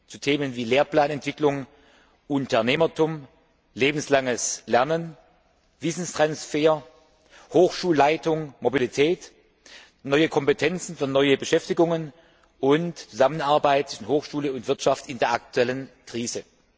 zu Themen wie Lehrplanentwicklung, Unternehmertum, lebenslanges Lernen, Wissenstransfer, Hochschulleitung, Mobilität, neue Kompetenzen für neue Beschäftigungen und Zusammenarbeit zwischen Hochschule und Wirtschaft in der aktuellen Krise.